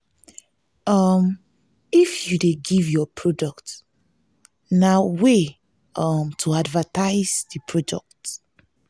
um if you de give your product na way um to advertise di product